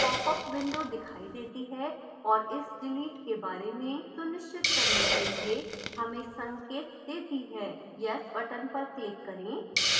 popअप window दिखाई देती है और इस डिलीट के बारे में सुनिश्चित करने के लिए हमें संकेत देती है yes बटन पर क्लिक करें